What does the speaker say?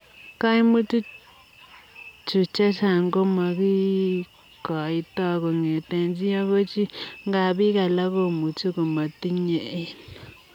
Kaimutii chuu chechang komakikoitoi kongetee chii agoi chii ,ngaa piik alaak komuchii komatinyee eng.